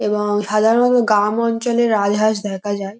এবং গ্রামাঞ্ছলের আভাস দেখা যায় ।